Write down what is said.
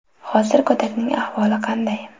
Hozir go‘dakning ahvoli qanday?